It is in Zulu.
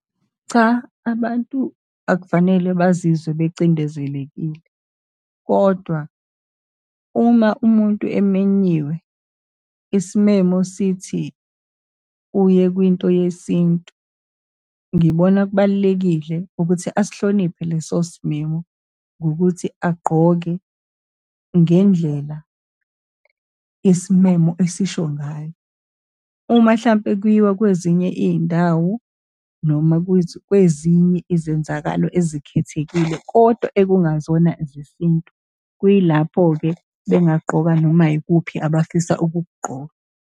Cha, abantu akufanele bazizwe bacindezelekile. Kodwa uma umuntu eminyiwe, isimemo sithi uye kwinto yesintu, ngibona kubalulekile ukuthi asihloniphe leso simemo ngokuthi agqoke ngendlela isimemo esisho ngayo. Uma hlampe kuyiwa kwezinye iy'ndawo, noma kwezinye izenzakalo ezikhethekile kodwa ekungazona zesintu, kuyilapho-ke bengagqoka noma ikuphi abafisa ukukugqoka.